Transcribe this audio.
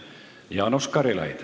Jaanus Karilaid.